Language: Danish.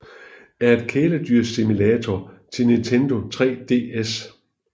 er et kæledyrssimulator til Nintendo 3DS